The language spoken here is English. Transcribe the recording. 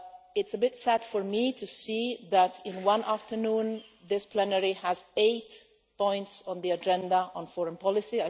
It is quite sad for me to see that in one afternoon this plenary has eight points on the agenda on foreign policy.